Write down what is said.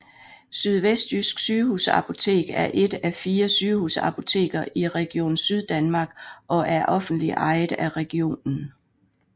Sydvestjysk Sygehusapotek er et af fire sygehusapoteker i Region Syddanmark og er offentligt ejet af regionen